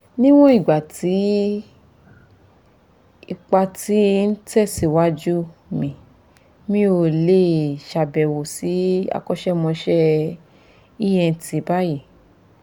níwọ̀n ìgbà tí ìtìpa ti ń tẹ̀síwájú mi mi ò lè ṣàbẹ̀wò sí akọ́ṣẹ́mọṣẹ́ ent báyìí